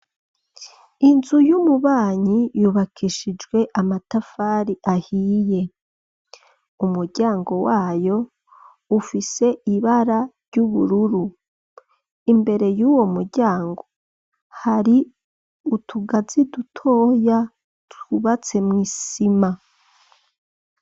Inzu y'umubanyi yubakishijwe amatafari ahiye, umuryango wayo ufise ibara ry'ubururu, imbere yuwo mu ryango hari utugazi dutoya twubatse mw'isima.